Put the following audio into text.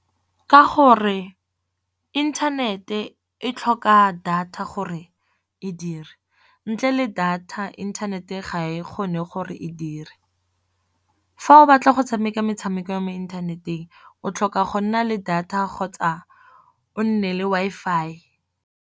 Ka gore inthanete e tlhoka data gore e dire, ntle le data inthanete ga e kgone gore e dire. Fa o batla go tshameka metshameko ya mo inthaneteng o tlhoka go nna le data kgotsa o nne le Wi-Fi.